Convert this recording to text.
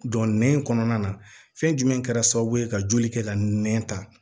Don nɛn kɔnɔna na fɛn jumɛn kɛra sababu ye ka joli kɛ ka nɛn ta